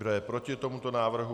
Kdo je proti tomuto návrhu?